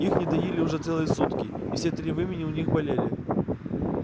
их не доили уже целые сутки и все три вымени у них болели